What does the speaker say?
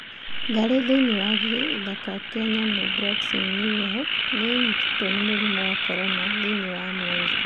Ngarĩ thĩinĩ wa gĩthaka kĩa nyamu Bronx New York, nĩ ĩnyitĩtwo nĩ mũrimũ wa korona thĩinĩ wa Amerika.